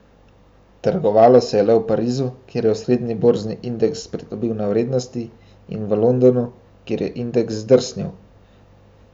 Trgovalo se je le v Parizu, kjer je osrednji borzni indeks pridobil na vrednosti, in v Londonu, kjer je indeks zdrsnil.